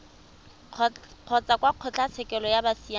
kgotsa kwa kgotlatshekelo ya bosiamisi